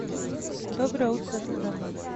доброе утро страна